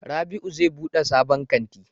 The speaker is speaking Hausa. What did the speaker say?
Rabiu zai bude sabon kanti